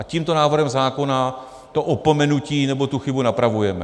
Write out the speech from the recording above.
A tímto návrhem zákona to opomenutí, nebo tu chybu napravujeme.